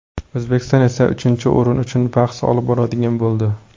O‘zbekiston esa uchinchi o‘rin uchun bahs olib boradigan bo‘ldi.